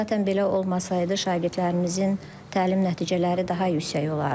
Zatən belə olmasaydı, şagirdlərimizin təlim nəticələri daha yüksək olardı.